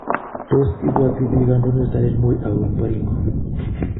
Tos ibuati bik Kandoindet Daniel Moi au eng Baringo